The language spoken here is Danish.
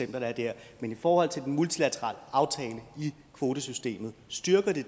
der er der men i forhold til den multilaterale aftale i kvotesystemet styrker det